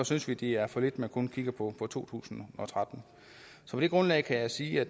synes vi det er for lidt at man kun kigger på to tusind og tretten på det grundlag kan jeg sige at